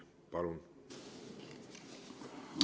Palun!